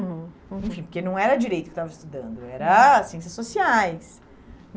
Hum, uhum. Enfim, porque não era direito que eu estava estudando, era ciências sociais.